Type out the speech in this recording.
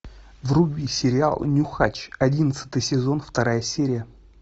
вруби сериал нюхач одиннадцатый сезон вторая серия